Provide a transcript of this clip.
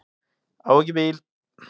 Á ekki bíl.